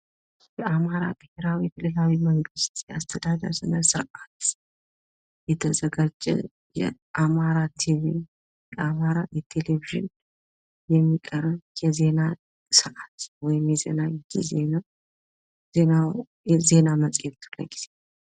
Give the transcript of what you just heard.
የአማራ ብሄራዊ ክልላዊ መንግስት አስተዳደር ስነስርአት የተዘጋጀ በአማራ ቲቪ እና ቴሌቪዥን የሚቀርብ የዜና ሰአት ወይም የዜና ጊዜ ነው። የዜና መፅሄት ክፍለ ጊዜ!